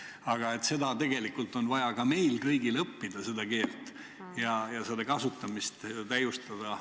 Aga seda keelt on tegelikult vaja meil kõigil õppida ja selle kasutamist täiustada.